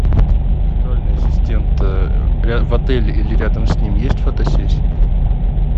виртуальный ассистент в отеле или рядом с ним есть фотосессии